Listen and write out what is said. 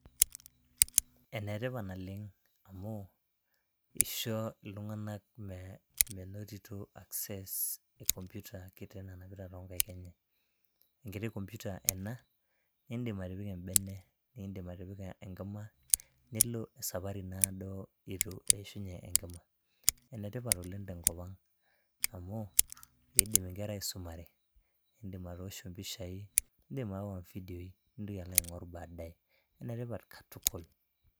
enetipat naleng amu isho iltung'anak amu isho iltung'anak menotito access e computer kiti nanapita tonkaik enye enkiti computer ena nindim atipika embene nindim atipika enkima nilo esapari naado itu eishunye enkima enetipat oleng tenkop ang amu kidim inkera aisumare indim atoosho impishai indim aawa ifidioi nintoki alo aing'orr badaye enetipat katukul.